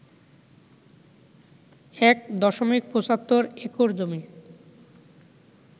১ দশমিক ৭৫ একর জমি